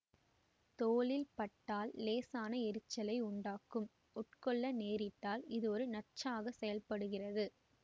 தோலில் பட்டால் இலேசான எரிச்சலை உண்டாக்கும் உட்கொள்ள நேரிட்டால் இது ஒரு நச்சாக செயல்படுகிறது